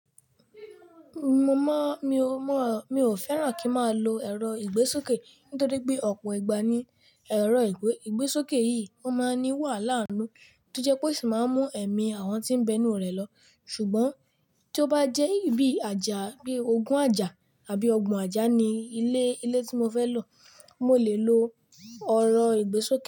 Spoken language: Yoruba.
Mo mọ, mi o mọ, mi o fẹ́ràn kí n máa lo ẹ̀rọ ìgbésókè nítorí pé ọ̀pọ̀ ìgbà ni ẹ̀rọ ìgbésókè yìí ó máa ń ní wàhálà inú tó jẹ́ pé ó sì máa ń mú ẹ̀mí àwọn tí ń bẹnu rẹ̀ lọ. Ṣùgbọ́n tí ó bá jẹ́ ibi àjà bí ogún àjà àbí ọgbùn àjà ni ilé, ilé tí mo fẹ́ lọ, mo lè lo ọ̀rọ̀ ìgbésókè.